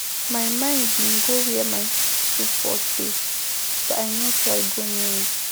My mind bin go where my soup pot dey but I no try go near it.